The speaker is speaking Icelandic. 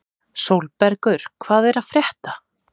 Sólbergur, hvað er að frétta?